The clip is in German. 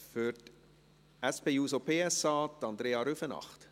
Für die SP-JUSO-PSA, Andrea Rüfenacht.